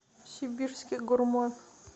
сибирский гурман